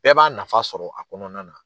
Bɛɛ b'a nafa sɔrɔ a kɔnɔna na.